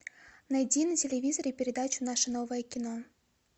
найди на телевизоре передачу наше новое кино